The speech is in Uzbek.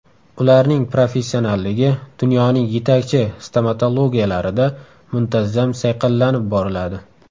Ularning professionalligi dunyoning yetakchi stomatologiyalarida muntazam sayqallanib boriladi.